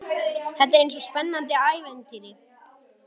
Þetta er eins og í spennandi ævintýri.